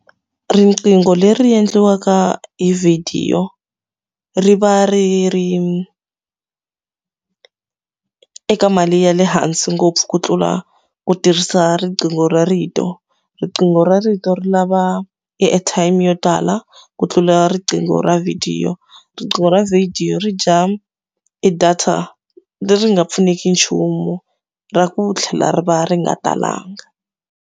Riqingho leri endliwaka hi vhidiyo ri va ri ri eka mali ya le hansi ngopfu ku tlula ku tirhisa riqingho ra rito. Riqingho ra rito ri lava e airtime yo tala ku tlula riqingho ra vhidiyo. Riqingho ra video ri dya e data leri nga pfuneki nchumu, ra ku tlhela ri va ri nga talanga.